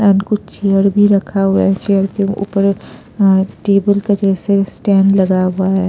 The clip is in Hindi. एंड कुछ चेयर भी रखा हुआ है चेयर के ऊपर अ अ टेबल का जैसे स्टैंड लगा हुआ है।